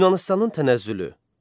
Yunanıstanın tənəzzülü.